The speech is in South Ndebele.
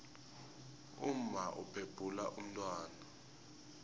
umma ubhebhula umntwana